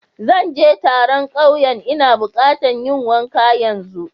Zan je taron kauyen n'na buƙata yin wanka yanzu.